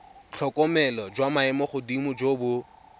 tlhokomelo jwa maemogodimo jo bo